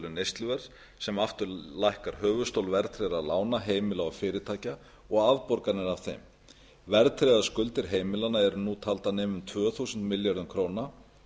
neysluverðs sem aftur lækkar höfuðstól verðtryggðra lána heimila og fyrirtækja og afborganir af þeim verðtryggðar skuldir heimilanna eru nú taldar nema um tvö þúsund milljörðum króna